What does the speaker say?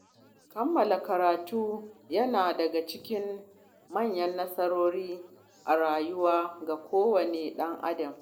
Kammala karatu yana daga cikin manyan nasarori a rayuwa ga kowane ɗan Adam